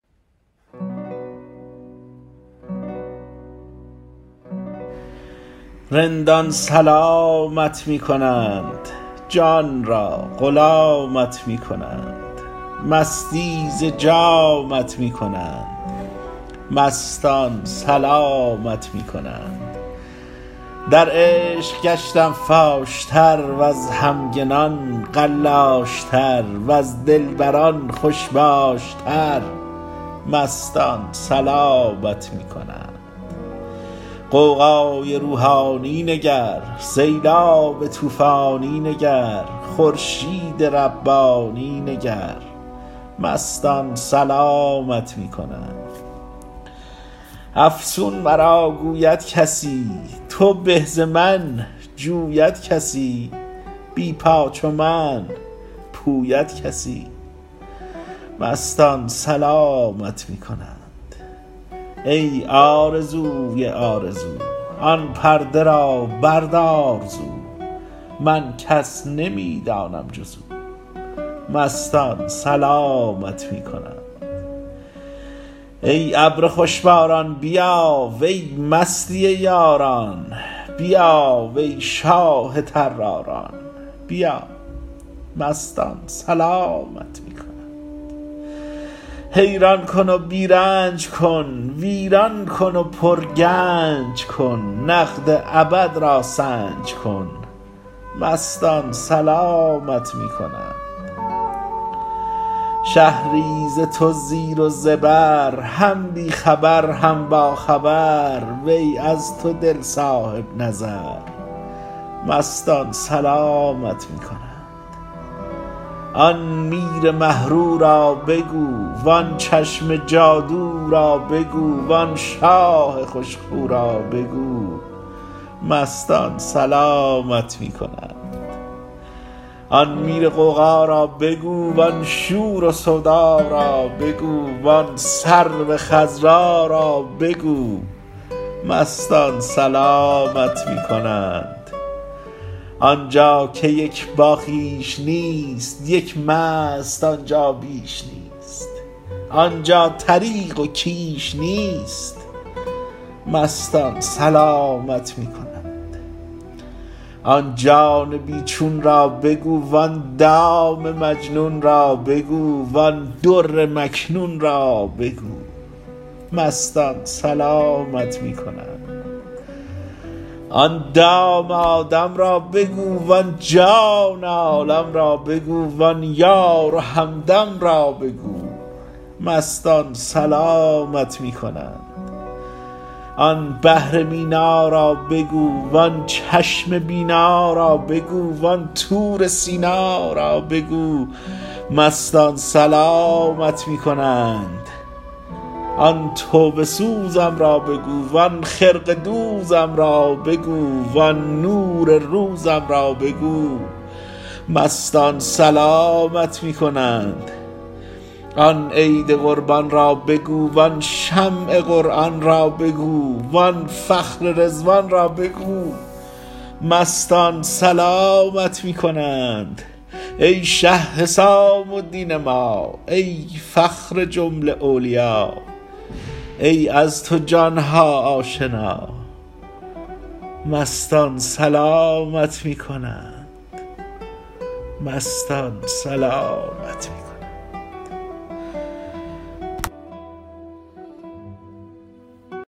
رندان سلامت می کنند جان را غلامت می کنند مستی ز جامت می کنند مستان سلامت می کنند در عشق گشتم فاش تر وز همگنان قلاش تر وز دلبران خوش باش تر مستان سلامت می کنند غوغای روحانی نگر سیلاب طوفانی نگر خورشید ربانی نگر مستان سلامت می کنند افسون مرا گوید کسی توبه ز من جوید کسی بی پا چو من پوید کسی مستان سلامت می کنند ای آرزوی آرزو آن پرده را بردار زو من کس نمی دانم جز او مستان سلامت می کنند ای ابر خوش باران بیا وی مستی یاران بیا وی شاه طراران بیا مستان سلامت می کنند حیران کن و بی رنج کن ویران کن و پرگنج کن نقد ابد را سنج کن مستان سلامت می کنند شهری ز تو زیر و زبر هم بی خبر هم باخبر وی از تو دل صاحب نظر مستان سلامت می کنند آن میر مه رو را بگو وان چشم جادو را بگو وان شاه خوش خو را بگو مستان سلامت می کنند آن میر غوغا را بگو وان شور و سودا را بگو وان سرو خضرا را بگو مستان سلامت می کنند آن جا که یک باخویش نیست یک مست آن جا بیش نیست آن جا طریق و کیش نیست مستان سلامت می کنند آن جان بی چون را بگو وان دام مجنون را بگو وان در مکنون را بگو مستان سلامت می کنند آن دام آدم را بگو وان جان عالم را بگو وان یار و همدم را بگو مستان سلامت می کنند آن بحر مینا را بگو وان چشم بینا را بگو وان طور سینا را بگو مستان سلامت می کنند آن توبه سوزم را بگو وان خرقه دوزم را بگو وان نور روزم را بگو مستان سلامت می کنند آن عید قربان را بگو وان شمع قرآن را بگو وان فخر رضوان را بگو مستان سلامت می کنند ای شه حسام الدین ما ای فخر جمله اولیا ای از تو جان ها آشنا مستان سلامت می کنند